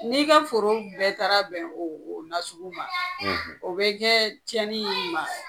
N'i ka foro bɛɛ taara bɛn o nasugu ma; ; o bɛ kɛ tiɲɛni in ma?